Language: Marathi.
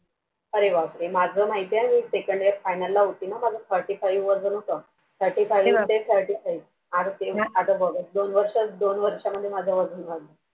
अरे बापरे माझं माहिती आहे मी Second year final ना होते Forty five वजन होत. आता बघच दोन दोनवर्षांत माझं वजन वाढलं